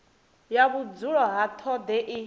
ya vhudzulo ha tshoṱhe i